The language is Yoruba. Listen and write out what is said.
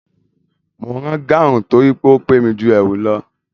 Mo ń rán gáhùn torí ó pé mi ju ẹ̀wù lọ